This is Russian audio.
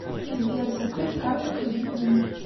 сбер закрыть карту кредитную